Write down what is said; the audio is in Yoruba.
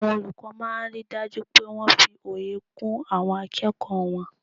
Àwọn olùkọ́ máa n ri dájú pé wọ́n fi òye kún àwọn akẹ́kọ̀ọ́ wọn